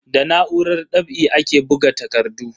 Da na'urar ɗab'i ake buga takardu.